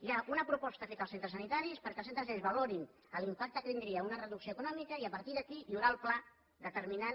hi ha una proposta feta als centres sanitaris perquè els centres sanitaris valorin l’impacte que tindria una reducció econòmica i a partir d’aquí hi haurà el pla determinant